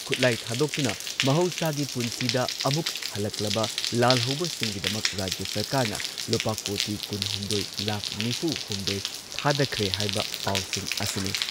ꯈꯨꯠꯂꯥꯏ ꯊꯥꯗꯣꯛꯇꯨꯅ ꯃꯍꯧꯁꯥꯒꯤ ꯄꯨꯟꯁꯤꯗ ꯑꯃꯨꯛ ꯍꯜꯂꯛꯂꯕ ꯂꯥꯜꯍꯧꯕꯁꯤꯡꯒꯤꯗꯃꯛ ꯔꯥꯖ꯭ꯌ ꯁꯔꯀꯥꯔꯅ ꯂꯨꯄꯥ ꯀꯣꯇꯤ ꯀꯨꯟꯍꯨꯝꯗꯣꯏ ꯂꯥꯈ ꯅꯤꯐꯨꯍꯨꯝꯗꯣꯏ ꯊꯥꯗꯈ꯭ꯔꯦ ꯍꯥꯏꯕ ꯄꯥꯎꯁꯤꯡ ꯑꯁꯤꯅꯤ꯫